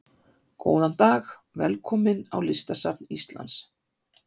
Góðan dag. Velkomin á Listasafn Íslands.